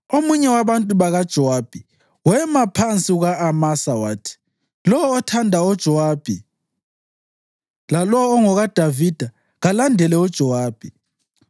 Omunye wabantu bakaJowabi wema phansi kuka-Amasa wathi, “Lowo othanda uJowabi, lalowo ongokaDavida, kalandele uJowabi!”